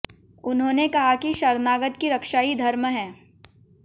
उन्होंने कहा कि शरणागत की रक्षा ही धर्म है